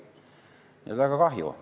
Nii et väga kahju!